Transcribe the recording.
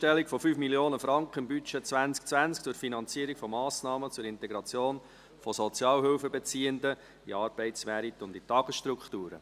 «Einstellung von 5 Mio. Franken im Budget 2020 zur Finanzierung von Massnahmen zur Integration von Sozialhilfebeziehenden in den Arbeitsmarkt und in Tagesstrukturen».